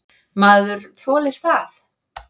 Maður þolir það.